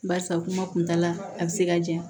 Barisa kuma kuntaala a be se ka janɲa